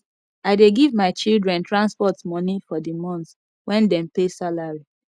i dey give my children transport moni for di month wen dem pay salary